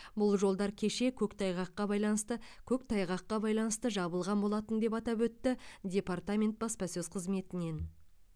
бұл жолдар кеше көктайғаққа байланысты көктайғаққа байланысты жабылған болатын деп атап өтті департамент баспасөз қызметінен